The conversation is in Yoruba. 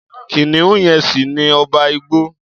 Kìnìún yẹn ṣì ni ọba igbó.